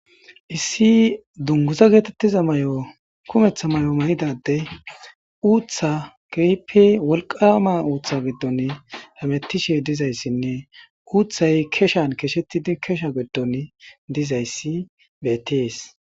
Issi dunguza geetettiza mayo kummetha mayidaddey uuththappe wolqaama uuththan hamettishe dizayssinne uuthay keshan keshettidi giddon dizaysi beettees.